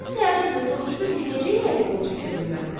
Qazı təəccüblə soruşdu ki, necə yəni qol çəkə bilməzlər?